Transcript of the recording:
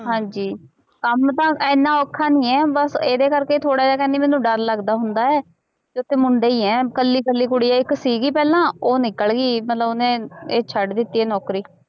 ਹਾਂਜੀ ਕੰਮ ਤਾਂ ਇੰਨਾ ਔਖਾ ਨੀ ਹੈ ਬਸ ਇਹਦੇ ਕਰਕੇ ਹੀ ਥੋੜ੍ਹਾ ਜਿਹਾ ਕਹਿੰਦੀ ਮੈਨੂੰ ਡਰ ਲੱਗਦਾ ਹੁੰਦਾ ਹੈ ਵੀ ਉੱਥੇ ਮੁੰਡੇ ਹੀ ਹੈ ਇਕੱਲੀ ਇਕੱਲੀ ਕੁੜੀ ਹੈ ਇੱਕ ਸੀਗੀ ਪਹਿਲਾਂ ਉਹ ਨਿੱਕਲ ਗਈ ਮਤਲਬ ਉਹਨੇ ਇਹ ਛੱਡ ਦਿੱਤੀ ਇਹ ਨੌਕਰੀ।